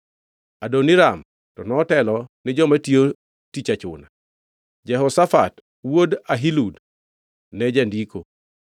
Adoniram to notelo ni joma tiyo tich achuna, Jehoshafat wuod Ahilud ne jandiko;